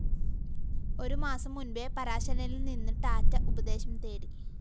ഒരു മാസം മുന്‍പേ പരാശരനില്‍ നിന്ന് ടാറ്റ ഉപദേശം തേടി